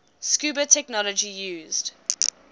scuba technology used